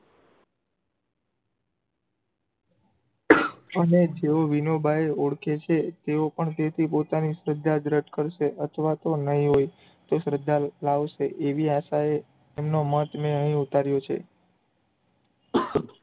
અને જેઓ વિનોબાંએ ઓળખે છે તેઓ પણ તેથી પોતાની શ્રદ્ધા જ રદ કરશે અથવા તો નહિ હોય તો શ્રદ્ધા લાવશે એવી આશાએ એમનો મત મે અહિયાં ઉતાર્યો છે